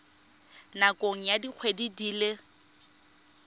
nakong ya dikgwedi di le